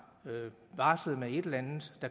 barslet med et eller andet